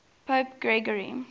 pope gregory